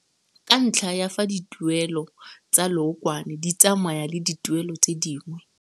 Ka ntlha ya fa dituelelo tsa leokwane di tsamaya le dituelelo tse dingwe.